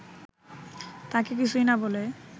তাঁকে কিছুই না বলে